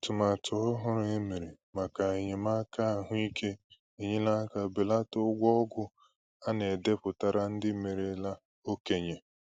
Atụmatụ ọhụrụ e mere maka enyémàkà ahụ́ íké enyela aka belata ụgwọ ọgwụ a na-edepụtara ndị merela okenye